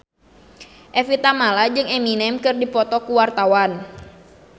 Evie Tamala jeung Eminem keur dipoto ku wartawan